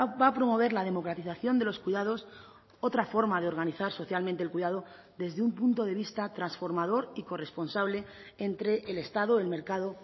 va a promover la democratización de los cuidados otra forma de organizar socialmente el cuidado desde un punto de vista transformador y corresponsable entre el estado el mercado